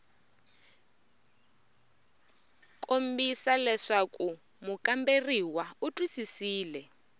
kombisa leswaku mukamberiwa u twisisile